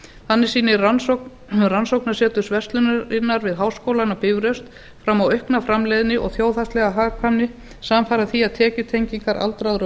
þannig sýnir rannsókn rannsóknarseturs verslunarinnar við háskólann á bifröst fram á aukna framleiðni og þjóðhagslega hagkvæmni samfara því að tekjutengingar aldraðra